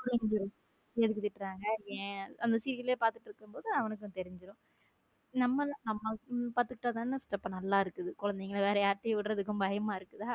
புரிஞ்சுரும் எதுக்கு திட்டுறாங்க ஏன் அந்த serial பார்த்துகிட்டு இருக்கும் போது அவனுக்கு தெரிஞ்சிடும் நான் இப்போ நம்ம பார்த்துக்கிட்டா தானே குழந்தைங்க நல்லா இருக்குது வேற யாரு கிடையும் விடுறதுக்கு பயமா இருக்கு இல்ல